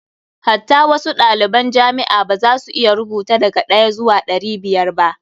Hatta wasu ɗaliban jamia ma ba za su iya rubuta daga ɗaya zuwa ɗari biyar ba.